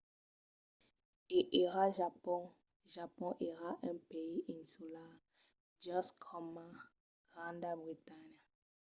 e ara japon. japon èra un país insular just coma granda bretanha